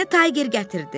Məni tayger gətirdi.